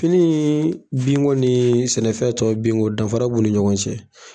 Fini binko ni sɛnɛfɛn tɔw binko danfara b'u ni ɲɔgɔn cɛ.